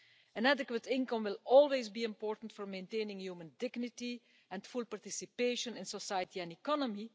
An adequate income will always be important for maintaining human dignity and full participation in society and economy.